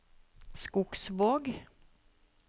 Skogsvåg